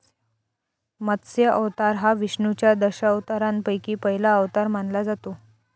मत्स्य अवतार हा विष्णूच्या दशावतारांपैकी पहिला अवतार मानला जातो.